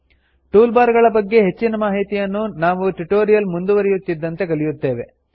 tool bar ಗಳ ಬಗ್ಗೆ ಹೆಚ್ಚಿನ ಮಾಹಿತಿಯನ್ನು ನಾವು ಟ್ಯುಟೋರಿಯಲ್ ಮುಂದುವರಿಯುತ್ತಿದ್ದಂತೆ ಕಲಿಯುತ್ತೇವೆ